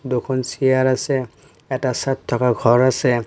দুখন চিয়াৰ আছে এটা চাঁদ থাকা ঘৰ আছে।